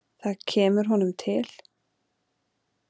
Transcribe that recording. Það kemur honum til.